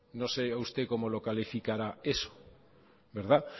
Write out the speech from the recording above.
no sé yo usted cómo lo calificará eso